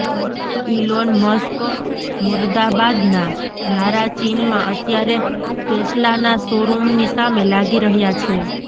Elon Musk મુર્દાબાદના નારા ચીનમાં અત્યારે ટેસ્લાના શોરૂમની સામે લાગી રહ્યા છે